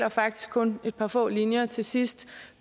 og faktisk kun et par få linjer til sidst